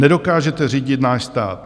Nedokážete řídit náš stát.